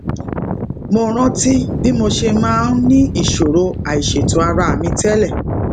mo rántí bí mo ṣe máa ń ní ìṣòro àìṣètò ara mi télè